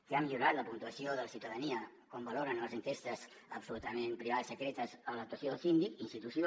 que ha millorat la puntuació de la ciutadania com valoren les enquestes absolutament privades secretes de l’actuació del síndic institució